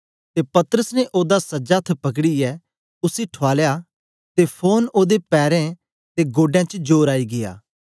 ते पतरस ने ओदा सज्जा अथ्थ पकड़ीयै उसी ठुआलया ते फोरन ओदे पैरें ते गोडें च जोर आई गीया